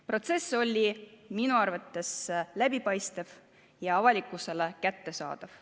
Protsess oli minu arvates läbipaistev ja avalikkusele kättesaadav.